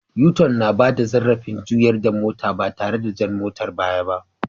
U- tun na bada zarrafin juyar da mota ba tare da jan motan baya ba.